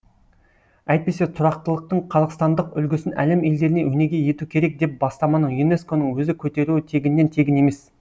әйтпесе тұрақтылықтың қазақстандық үлгісін әлем елдеріне өнеге ету керек деп бастаманы юнеско ның өзі көтеруі тегіннен тегін емес